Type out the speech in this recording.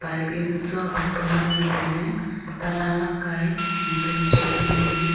pipe yaonu tsua vuk pa ngan ley tailey ta lan lakka ae tito check ley ngo ley.